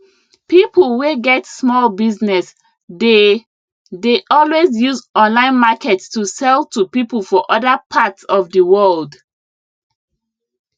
people wey get small business dey dey always use online market to sell to people for other part of di world